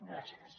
gràcies